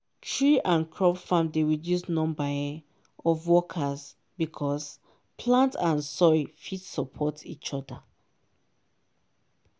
tree and crop farm dey reduce number um of workers because plant and soil fit support each other.